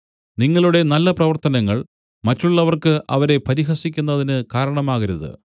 നിങ്ങളുടെ നല്ല പ്രവർത്തനങ്ങൾ മറ്റുള്ളവർക്ക് അവരെ പരിഹസിക്കുന്നതിന് കാരണമാകരുത്